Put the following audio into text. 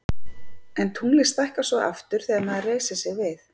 En tunglið stækkar svo aftur þegar maður reisir sig við.